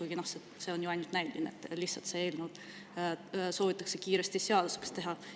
Aga, noh, see on ju ainult näiline, lihtsalt see eelnõu soovitakse kiiresti seaduseks teha.